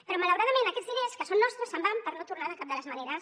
però malauradament aquests diners que són nostres se’n van per no tornar de cap de les maneres